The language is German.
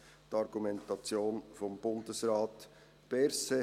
Das ist die Argumentation von Bundesrat Berset.